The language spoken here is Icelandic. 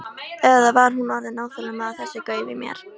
Eða var hún orðin óþolinmóð á þessu gaufi í mér?